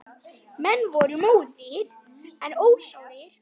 Menn voru móðir en ósárir.